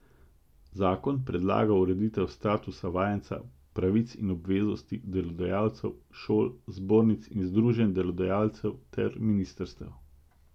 Zakon predlaga ureditev statusa vajenca, pravic in obveznosti delodajalcev, šol, zbornic in združenj delodajalcev ter ministrstev.